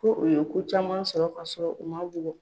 Ko u ye ko caman sɔrɔ ka sɔrɔ u ma bugɔ.